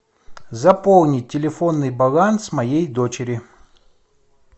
заполнить телефонный баланс моей дочери